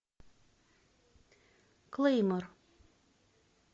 клеймор